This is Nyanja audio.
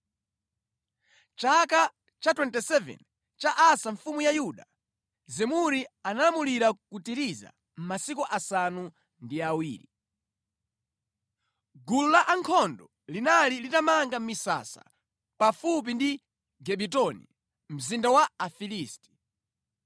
Mʼchaka cha 27 cha Asa mfumu ya Yuda, Zimuri analamulira ku Tiriza masiku asanu ndi awiri. Gulu la ankhondo linali litamanga misasa pafupi ndi Gibetoni, mzinda wa Afilisti.